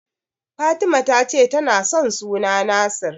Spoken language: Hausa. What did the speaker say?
Fatima ta ce tana son suna Nasir.